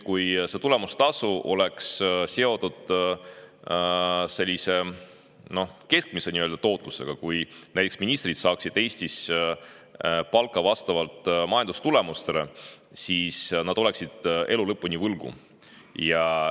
Kui tulemustasu oleks seotud keskmise tootlusega ehk kui näiteks ministrid saaksid Eestis palka vastavalt majandustulemustele, siis nad oleksid elu lõpuni võlgu.